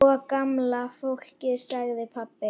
Sko gamla fólkið sagði pabbi.